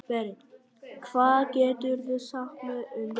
Berent, hvað geturðu sagt mér um veðrið?